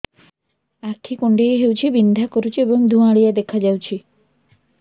ଆଖି କୁଂଡେଇ ହେଉଛି ବିଂଧା କରୁଛି ଏବଂ ଧୁଁଆଳିଆ ଦେଖାଯାଉଛି